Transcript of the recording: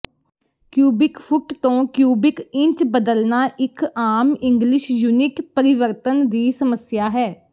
cubic foot ਤੋਂ cubic inch ਬਦਲਣਾ ਇਕ ਆਮ ਇੰਗਲਿਸ਼ ਯੂਨਿਟ ਪਰਿਵਰਤਨ ਦੀ ਸਮੱਸਿਆ ਹੈ